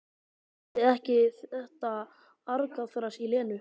Þoldi ekki þetta argaþras í Lenu.